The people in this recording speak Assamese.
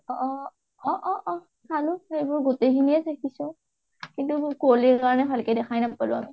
অ অ অ অ চালোঁ সেইবোৰ গোটেইখিনি এ দেখিছোঁ কিন্তু কুঁৱলীৰ কাৰণে ভালকৈ দেখাই নাপালোঁ আমি